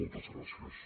moltes gràcies